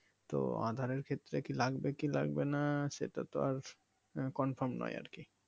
তো আধারের ক্ষেত্রে কি লাগবে কি লাগবে না সেটা তো আর Confirm নয় আরকি